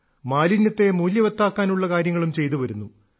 മാലിന്യത്തെ മൂല്യവത്താക്കാനുള്ള കാര്യങ്ങളും ചെയ്തുവരുന്നു